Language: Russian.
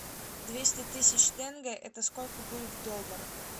двести тысяч тенге это сколько будет в долларах